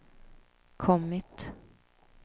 kommit